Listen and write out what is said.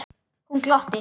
Hún glotti.